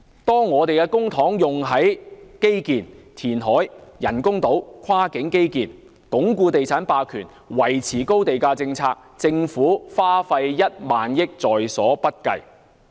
當我們的公帑用在基建、填海、興建人工島、跨境基建、鞏固地產霸權、維持高地價政策時，政府花費1萬億元也在所不計。